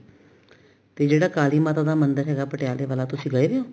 ਜੇ ਜਿਹੜਾ ਕਾਲੀ ਮਾਤਾ ਦਾ ਮੰਦਿਰ ਹੈਗਾ ਪਟਿਆਲੇ ਤੁਸੀਂ ਗਏ ਓ